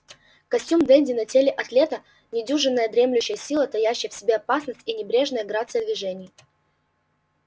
костюм денди на теле атлета недюжинная дремлющая сила таящая в себе опасность и небрежная грация движений